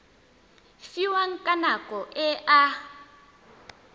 fiwang ka nako e a